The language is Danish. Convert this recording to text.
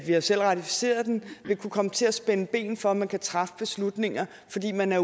har selv ratificeret den vil kunne komme til at spænde ben for at man kan træffe beslutninger fordi man er